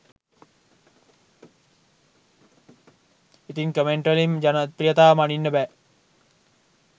ඉතින් කමෙන්ට් වලින් ජනප්‍රියතාව මනින්න බෑ